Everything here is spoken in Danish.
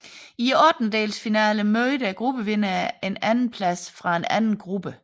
I ottendelsfinalerne mødte gruppevinderne en andenplads fra en anden gruppe